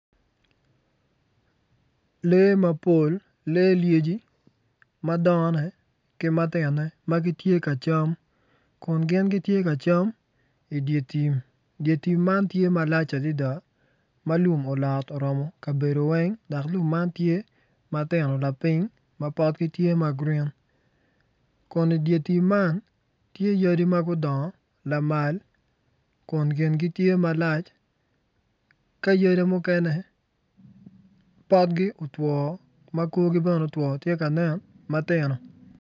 Lee mapol lee lyeci madongone ki matinone ma gitye ka cam kun gitye ka cam idye tim dye tim man tye malac adada ma lum olot oromo kabedo weng dok lum tye matino lapiny ma potgi tye ma grin kun idye tim man tye yadi ma gudongo lamal kun kingi tye malac ka yadi mukene potgi otwo ma korgi bene otwo tye ka nen matino.